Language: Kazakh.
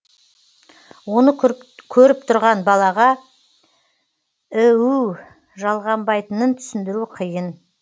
оны көріп тұрған балаға іу жалғанбайтынын түсіндіру қиын